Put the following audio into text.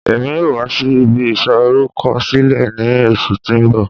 Emi yoo wa si ibi isorukọsilẹ ni oṣu ti n bọ